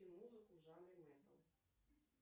музыку в жанре металл